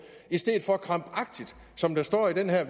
i stedet for som der står i det her